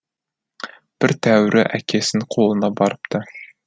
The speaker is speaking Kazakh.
бір тәуірі әкесінің қолына барыпты